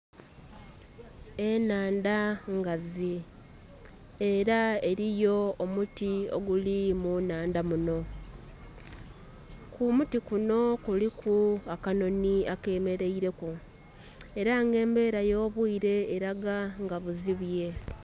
Enhandha ngazi era eriyo omuti oguli mu nnhandha muno. Ku muti kuno kuliku akanonhi ake meraire ku era nga embeera eyo bwiire eraga nga buzibye.